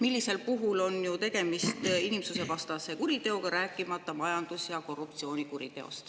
Sellisel juhul on ju tegemist inimsusvastase kuriteoga, rääkimata majandus- ja korruptsioonikuriteost.